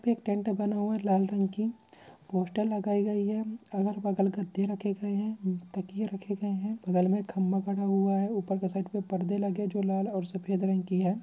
एक टेंट बना हुआ है लाल रंग की पोस्टर लगायी गई है और बगल में खत्ते रखे गए हैं ताकीए रखे गए हैं दीवाल में खंबा बना हुआ है ऊपर के शट में परदे लगे हुए हैं जो लाल और सफेद रंग की है |